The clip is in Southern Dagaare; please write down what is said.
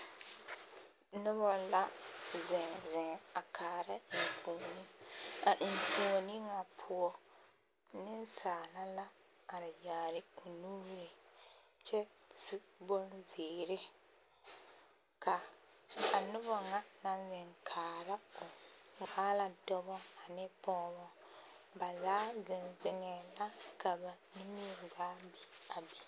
Noba la zeŋzeŋ a kaara enfuoni a enfuoni ŋa poɔ nensaala la are yaare o nuuri kyɛ su bonziiri ka a noba ŋa naŋ zeŋ kaara o waa la dɔbɔ ane pɔɔbɔ ba zaa zeŋzeŋɛɛ la ka ba nie zaa be a be.